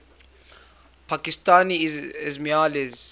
pakistani ismailis